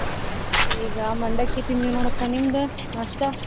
ಈಗ ಮಂಡಕ್ಕಿ ತಿಂದ್ವಿ ನೋಡಕ್ಕ ನಿಮ್ದು नास्ता ?